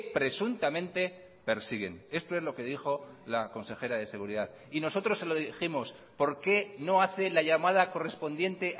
presuntamente persiguen esto es lo que dijo la consejera de seguridad y nosotros se lo dijimos por qué no hace la llamada correspondiente